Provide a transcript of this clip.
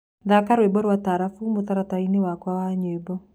thaka rwĩmbo rwa taarabũ mũtarataraĩnĩ wakwa wa nyĩmbo